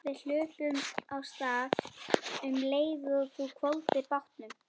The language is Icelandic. Við hlupum af stað um leið og þú hvolfdir bátnum.